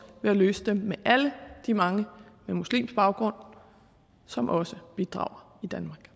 ved at løse dem med alle de mange med muslimsk baggrund som også bidrager